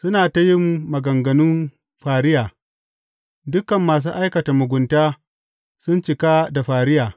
Suna ta yin maganganun fariya; dukan masu aikata mugunta sun cika da fariya.